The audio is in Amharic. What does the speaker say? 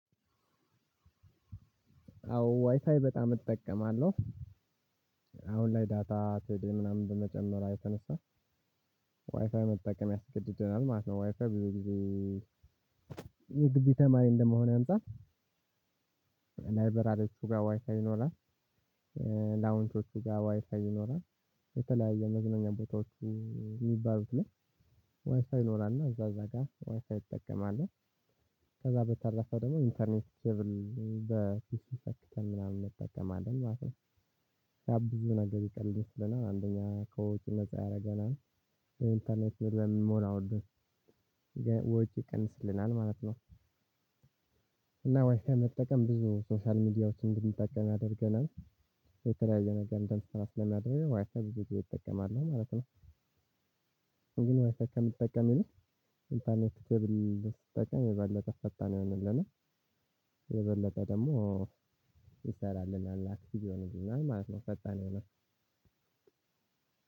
አዎ ዋይፋይ በጣም እጠቀማለሁ። አሁን ላይ ዳታ ቴሌ ምናምን በመጨመሯ የተነሳ- ዋይፋይ መጠቀም ያስገድደናል ማለት ነው። ዋይፋይ ብዙ ጊዜ- የግቢ ተማሪ እንደመሆኔ አንፃር ላይበራሪዎቹ ጋ ዋይፋይ ይኖራል። ላውንቾቹ ጋር ዋይፋይ ይኖራል። የተለያየ የመዝናኛ ቦታዎቹ የሚባሉት ላይ ዋይፋይ ይኖራል። እና እዛ እዛ ጋር ዋይፋይ እጠቀማለሁ። ከዛ በተረፈ ደግሞ ኢንተርኔት ኬብል በፒሲ ሰተክተን ምናምን እንጠቀማለን ማለት ነው። ያ ብዙ ነገር ይቀልድ ስለናል አንደኛ ከውጭ ነፃ ያደርገናል ኢንተርኔት በምን መሆን አወደህ ወጪ ይቀንስልናል ማለት ነው። እና ዋይፋይ መጠቀም ብዙ ሶሻል ሚዲያዎች እንድንጠቀም ያደርገናል። የተለያየ ነገር እንደምትሰራ ስለምናድርግ ዋይፋይ ብዙ ጊዜ እጠቀማለሁ ማለት ነው። ግን ዋይፋይ ከምጠቀም ይልቅ- ኢንተርኔት ከብል ስንጠቀም የበለጠ ፈጣን ይሆንልናል። የበለጠ ደሞ ይሰራልናል። አክቲቭ ይህንልናል ማለት ነው። የበለጠ ፈጣን ይሆናል።